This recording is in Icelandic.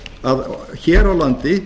að hér á landi